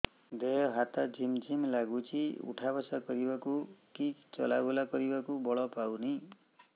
ଦେହେ ହାତ ଝିମ୍ ଝିମ୍ ଲାଗୁଚି ଉଠା ବସା କରିବାକୁ କି ଚଲା ବୁଲା କରିବାକୁ ବଳ ପାଉନି